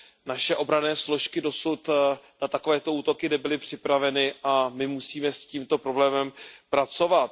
Naše obranné složky dosud na takovéto útoky nebyly připraveny a my musíme s tímto problémem pracovat.